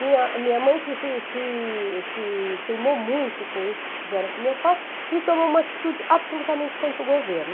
Minha minha mãe fez esse se se se queimou muito com isso que fizeram com meu pai e tomou uma atitude absolutamente contra o governo.